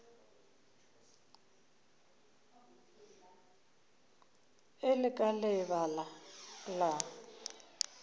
e le ka lebaka la